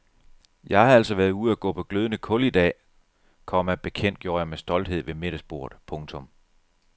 Jeg har altså været ude og gå på glødende kul i dag, komma bekendtgjorde jeg med stolthed ved middagsbordet. punktum